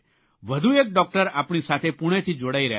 વધુ એક ડૉકટર આપણી સાથે પૂણેથી જોડાઇ રહ્યા છે